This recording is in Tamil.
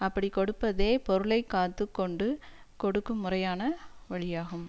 அப்படிக் கொடுப்பதே பொருளை காத்து கொண்டு கொடுக்கும் முறையான வழியாகும்